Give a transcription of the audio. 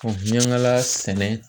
Miyangala sɛnɛ